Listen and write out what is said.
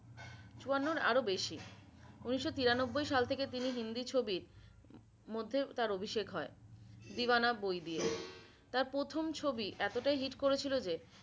চুয়ান্নর আর বেশি উনিশো তিরানব্বই সাল থেকে তিনি হিন্দি ছবির মধ্যে তার অভিষেক হয়। deewana বই দিয়ে তার প্রথম ছবি এতটাই hit করেছিল যে